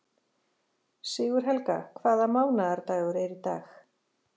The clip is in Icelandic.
Sigurhelga, hvaða mánaðardagur er í dag?